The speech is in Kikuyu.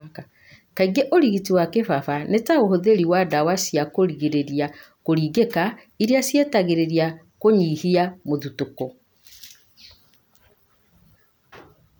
Kaingĩ ũrigiti wa kĩbaba nĩ ta ũhũthĩri wa ndawa cia kũrigĩrĩria kũringĩka, iria citeithagia kũnyihia mũthutũko.